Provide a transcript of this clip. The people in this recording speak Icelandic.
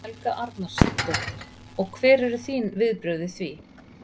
Helga Arnardóttir: Og hver eru þín viðbrögð við því?